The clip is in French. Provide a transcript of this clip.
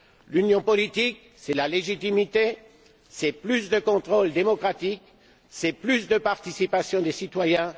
L'Union politique, c'est la légitimité, c'est plus de contrôle démocratique, c'est plus de participation des citoyens.